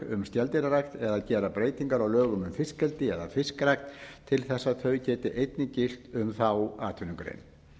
um skeldýrarækt eða gera breytingar á lögum um fiskeldi eða fiskrækt til þess að þau geti einnig gilt um þá atvinnugrein